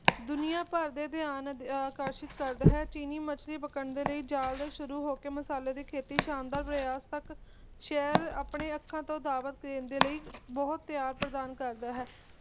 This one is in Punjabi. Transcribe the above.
ਦੁਨੀਆਂ ਭਰ ਦਾ ਧਯਾਨ ਆਕਰਸ਼ਿਤ ਕਰਦਾ ਹੈ ਚੀਨੀ ਮੱਛਲੀ ਪਕੜਨ ਲਈ ਜਾਲ ਦੇ ਸ਼ੁਰੂ ਹੋ ਕੇ ਮਸਾਲੇ ਦੇ ਖੇਤੀ ਸ਼ਾਨਦਾਰ ਵਿਕਾਸ ਤਕ ਸ਼ਹਿਰ ਆਪਣੇ ਅੱਖਾਂ ਤੋਂ ਦਾਅਵਤ ਦੇਣ ਲਈ ਬਹੁਤ ਤਯਾਗ ਪ੍ਰਦਾਨ ਕਰਦਾ ਹੈ